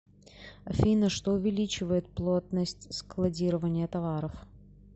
афина что увеличивает плотность складирования товаров